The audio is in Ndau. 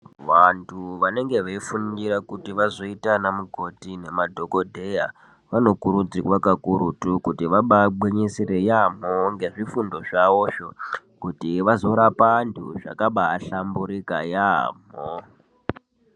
Vantu vanenge veifundira kuti vazoita anamukoti nemadhokodheya, vanokurudzirwa kakurutu, kuti vabaangwinyisire yaamho nezvifundo zvavozvo, kuti vazorapa vantu zvakabaaahlamburika yaamho.